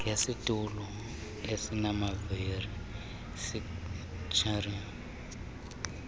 ngesitulo esinamavili wheelchair